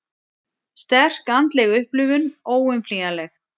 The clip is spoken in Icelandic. Sterk andleg upplifun óumflýjanleg